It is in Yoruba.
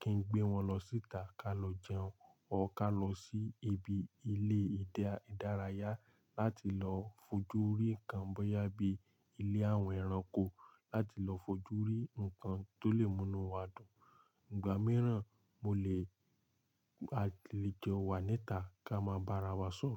kí n gbé wọn lọ síta ká lọ jẹun ọ ká lọ sí ibi ilé ìdárayá láti lọ fojú rí nǹkan bóyá bí ilé àwọn ẹranko láti lọ fojú rí nǹkan tó lè múnú wa dùn. Ìgbà mìíràn mo lè a lè jẹun wá níta ká máa bá ara wa sùn.